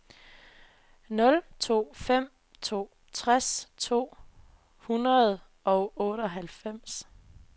nul to fem to tres to hundrede og otteoghalvfems